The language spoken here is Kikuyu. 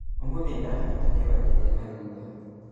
ũmũthĩ nĩndahata kĩwanja kĩa nathutha